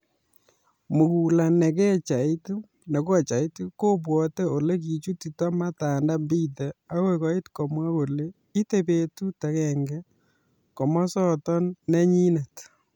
Mukula ne kochait kobwote ole kichutito Matanda Mbithe agoi koit komwa kole ite betut agenge komosoton nenyinet.